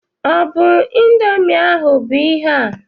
Ọ bụ ịndomii ahụ bụ ihe a?